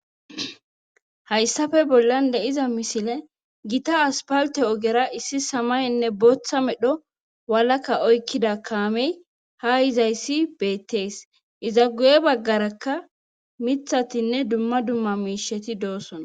hayssafe bollan de'iza misile gita aspalte ogera issi samayenne booththa medho walaka oykkida kaamey ha yizayssi beettees iza guye baggarakka mithatinne dumma dumma miisheti doosona